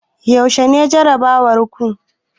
Yaushe ne jarabawar ku?